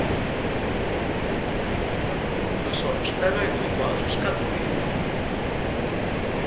naswona swilaveko hinkwaswo swi katsiwile